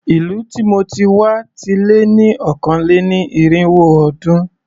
Ìlú tí mo ti wá ti lé ní ọ̀kàn-lé-ní-irínwó ọdún.